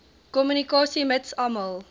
kommunikasie mits almal